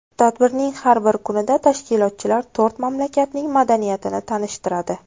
Tadbirning har bir kunida tashkilotchilar to‘rt mamlakatning madaniyatini tanishtiradi.